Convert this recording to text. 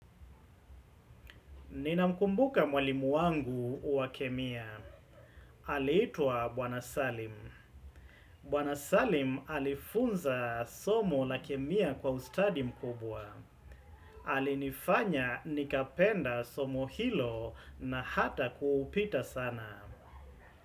Ninamkumbuka mwalimu wangu wa kemia. Aliitwa Bwana Salim. Bwana Salim alifunza somo la kemia kwa ustadi mkubwa. Alinifanya nikapenda somo hilo na hata kuupita sana.